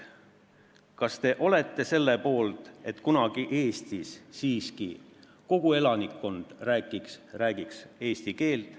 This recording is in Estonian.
Kas te olete selle poolt, et kunagi räägiks siiski kogu Eesti elanikkond eesti keelt?